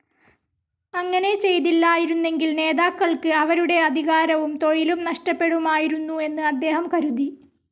അങ്ങനെ ചെയ്തില്ലായിരുന്നെങ്കിൽ നേതാക്കൾക്ക് അവരുടെ അധികാരവും തൊഴിലും നഷ്ടപ്പെടുമായിരുന്നു എന്നും അദ്ദേഹം കരുതി.